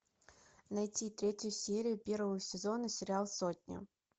найти третью серию первого сезона сериал сотня